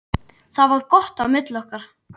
Það var gott á milli okkar.